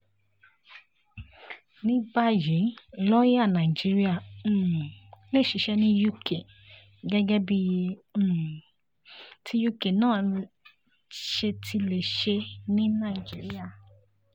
ní báyìí lọ̀ọ́yà nàìjíríà um lè ṣiṣẹ́ ní uk gẹ́gẹ́ bí um ti uk náà ṣe ti lè ṣe ní nàìjíríà